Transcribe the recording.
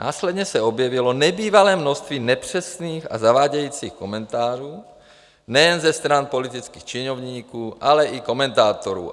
Následně se objevilo nebývalé množství nepřesných a zavádějících komentářů nejen ze strany politických činovníků, ale i komentátorů.